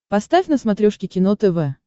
поставь на смотрешке кино тв